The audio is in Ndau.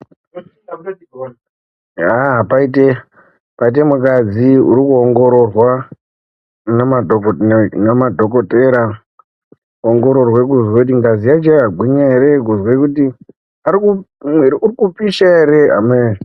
Aaa paite mukadzi uri kuongororwa ngemadhokodhera kuzwa kuti ngazi yacho iri kupisha ere kana kuti ameno.